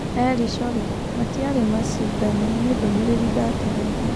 Eli Choge : Matiarĩ macindano nĩ ndũmĩrĩri ndakinyagia.